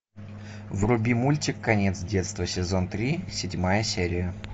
вруби мультик конец детства сезон три седьмая серия